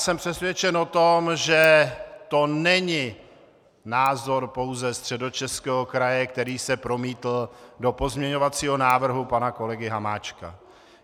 Jsem přesvědčen o tom, že to není názor pouze Středočeského kraje, který se promítl do pozměňovacího návrhu pana kolegy Hamáčka.